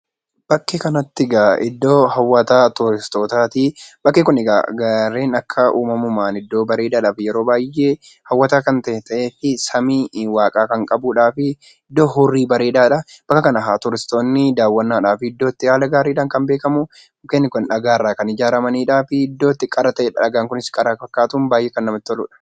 Bakkee kanatti egaa iddoo hawwata turistootaati. Bakki kun egaa gaarren akka uumamumaan iddoo bareedaadhaa fi yeroo baay'ee miidhagaa kan ta'ee samii waaqaa kan qabuudhaa fi iddoo hurrii bareedaadha. Bakka kan turistoonni daawwannaadhaaf bakka itti haala gaariidhaan kan beekamu dhagaarraa kan ijaaraman dhagaan kunis qara kan fakkaatuu fi baay'ee kan namatti tolanidha.